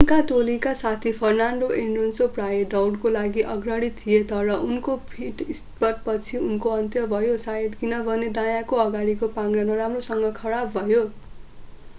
उनका टोलीका साथी फर्नान्डो एलोन्सो प्रायः दौडको लागि अग्रणी थिए तर उनको पिट-स्टप पछि यसको अन्त्य भयो शायद किनभने दायाँको अगाडिको पाङ्ग्रा नराम्रोसँग खराब भयो